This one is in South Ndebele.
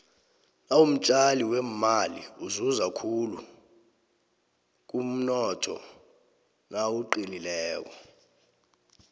nawumtjali wemaili uzuza khulu kumnotho nawuqinileko